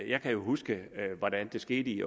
jeg kan jo huske hvordan det skete i